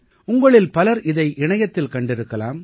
உங்களில் பலர் இதை இணையத்தில் கண்டிருக்கலாம்